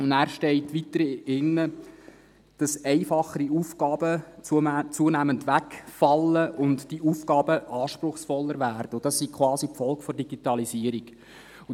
Weiter hinten steht, dass einfachere Aufgaben zunehmend wegfallen, die Aufgaben anspruchsvoller werden und dies quasi die Folge der Digitalisierung sei.